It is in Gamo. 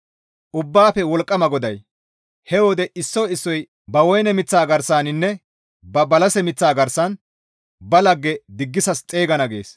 Ubbaafe Wolqqama GODAY, «He wode issoy issoy ba woyne miththa garsaninne ba balase miththa garsan ba lagge diggisas xeygana» gees.